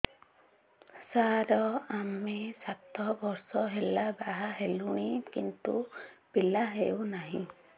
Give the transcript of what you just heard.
ସାର ଆମେ ସାତ ବର୍ଷ ହେଲା ବାହା ହେଲୁଣି କିନ୍ତୁ ପିଲା ହେଉନାହିଁ